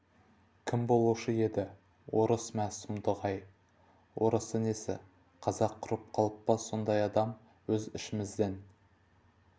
кім болушы еді орыс мә сұмдық-ай орысы несі қазақ құрып қалып па сондай адам өз ішімізден